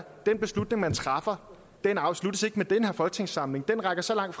den beslutning man træffer ikke afsluttes med den her folketingssamling den rækker så langt